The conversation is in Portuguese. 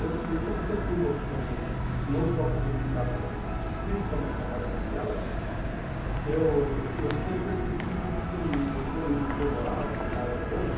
E eu eu como sempre fui envolvido também não só com o sindicato, mas principalmente com a parte social, eu eu tinha percebido que o condomínio em que eu morava, e moro até hoje,